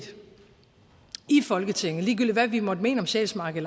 folketinget ligegyldigt hvad vi måtte mene om sjælsmark